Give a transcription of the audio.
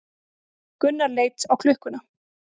Gunnar leit á klukkuna.